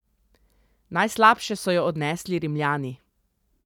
Najslabše so jo odnesli Rimljani.